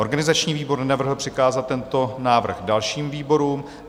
Organizační výbor nenavrhl přikázat tento návrh dalším výborům.